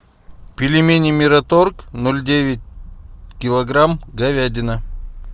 пельмени мираторг ноль девять килограмм говядина